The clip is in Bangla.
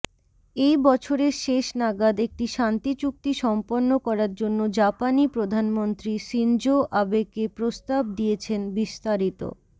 এই বছরের শেষ নাগাদ একটি শান্তিচুক্তি সম্পন্ন করার জন্য জাপানি প্রধানমন্ত্রী শিনজো আবেকে প্রস্তাব দিয়েছেনবিস্তারিত